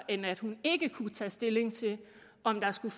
end at hun ikke kunne tage stilling til om der skulle